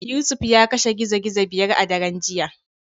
Yusuf ya kashe gizo gizo biyar a daren jiya.